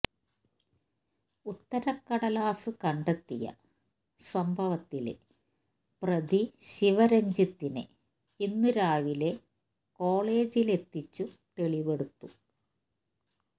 ഉത്തരക്കടലാസ് കണ്ടെത്തിയ സംഭവത്തില് പ്രതി ശിവരഞ്ചിത്തിനെ ഇന്നു രാവിലെ കോളജിലെത്തിച്ചു തെളിവെടുത്തു